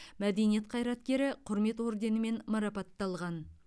мәдениет қайраткері құрмет орденімен марапатталған